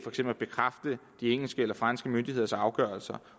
at bekræfte de engelske og franske myndigheders afgørelser